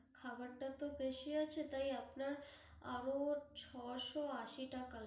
খাবারটা তো বেশী আছে তাই, আপনার আরও ছয়শো আশি টাকা